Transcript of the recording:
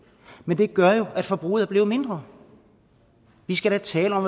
men det gør jo at forbruget er blevet mindre vi skal da tale om